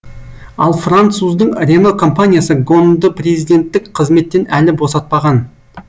ал француздың рено компаниясы гонды президенттік қызметтен әлі босатпаған